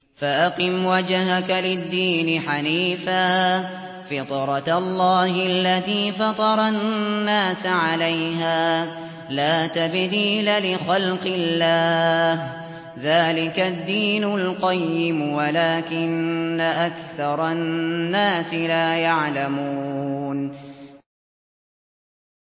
فَأَقِمْ وَجْهَكَ لِلدِّينِ حَنِيفًا ۚ فِطْرَتَ اللَّهِ الَّتِي فَطَرَ النَّاسَ عَلَيْهَا ۚ لَا تَبْدِيلَ لِخَلْقِ اللَّهِ ۚ ذَٰلِكَ الدِّينُ الْقَيِّمُ وَلَٰكِنَّ أَكْثَرَ النَّاسِ لَا يَعْلَمُونَ